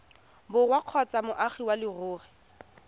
borwa kgotsa moagi wa leruri